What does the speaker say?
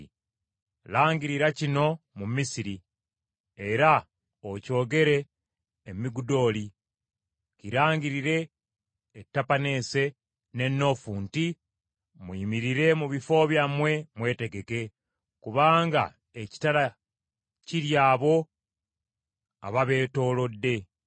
“Langirira kino mu Misiri, era okyogere e Migudooli; kirangirire e Tapaneese ne Noofu nti, ‘Muyimirire mu bifo byammwe mwetegeke kubanga ekitala kirya abo ababeetoolodde.’